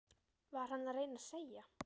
Var hann að reyna að segja